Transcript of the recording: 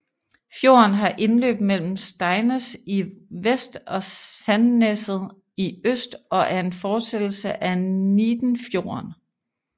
Fjorden har indløb mellem Steinnes i vest og Sandneset i øst og er en fortsættelse af Neidenfjorden